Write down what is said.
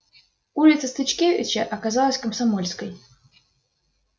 улица стыцкевича оказалась комсомольской